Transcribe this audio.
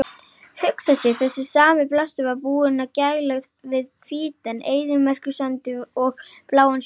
Hugsa sér, þessi sami blástur var búinn að gæla við hvítan eyðimerkursandinn og bláan sjóinn!